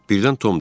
Birdən Tom dedi: